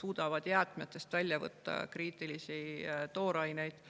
suudab jäätmetest välja võtta kriitilisi tooraineid.